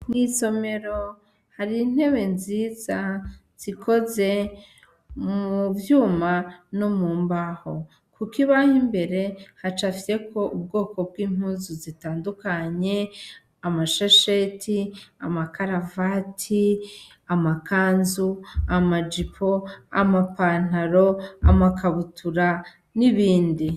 Mw'isomero har'intebe nziza zikoze mu vyuma no mu mbaho, kukibaho imbere hacapfyeko ubwoko bw'impuzu zitandukanye: amashesheti, amakaravati, amakanzu, amajipo, amapantaro, amakabutura, n'ibindi.